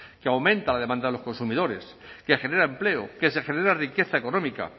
que aumenta la demanda de los consumidores que genera empleo que se genera riqueza económica